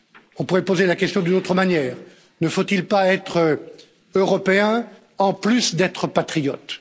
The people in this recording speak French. On pourrait poser la question d'une autre manière ne faut il pas être européen en plus d'être patriote?